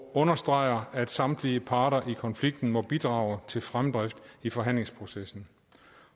understreger at samtlige parter i konflikten må bidrage til fremdrift i forhandlingsprocessen